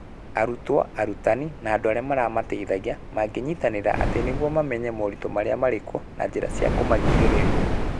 Arutwo, arutani na andũ arĩa maramateithagia mangĩnyitanĩra atĩa nĩguo mamenye moritũ marĩa marĩ kuo na njĩra cia kũmagirĩrĩria?